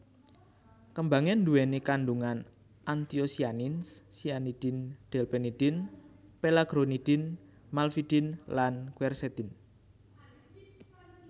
Kembangé nduwèni kandhungan anthocyanins cyanidin delphinidin pelargonidin malvidin lan quercetin